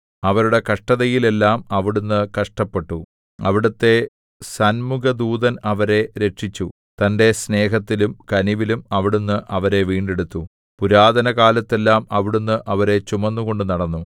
അവരുടെ കഷ്ടതയിൽ എല്ലാം അവിടുന്ന് കഷ്ടപ്പെട്ടു അവിടുത്തെ സന്മുഖദൂതൻ അവരെ രക്ഷിച്ചു തന്റെ സ്നേഹത്തിലും കനിവിലും അവിടുന്ന് അവരെ വീണ്ടെടുത്തു പുരാതനകാലത്തെല്ലാം അവിടുന്ന് അവരെ ചുമന്നുകൊണ്ടു നടന്നു